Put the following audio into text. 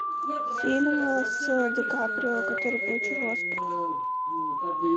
фильм с ди каприо который получил оскар